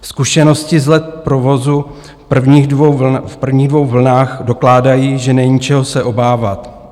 Zkušenosti z let provozu v prvních dvou vlnách dokládají, že není, čeho se obávat.